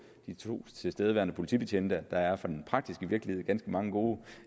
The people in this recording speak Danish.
de to tilstedeværende politibetjente at der i den praktiske virkelighed er ganske mange gode